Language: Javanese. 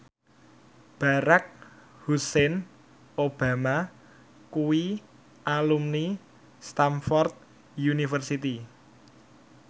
Barack Hussein Obama kuwi alumni Stamford University